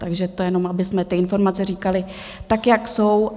Takže to jenom, abychom ty informace říkali, tak jak jsou.